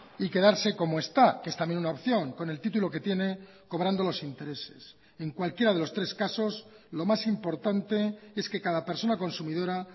y quedarse como está que es también una opción con el título que tiene cobrando los intereses en cualquiera de los tres casos lo más importante es que cada persona consumidora